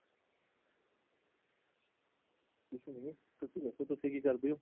ਕੁਝ ਨਹੀ , ਤੁਸੀ ਦਸੋ ਤੁਸੀ ਕੀ ਕਰਦੇ ਹੋ |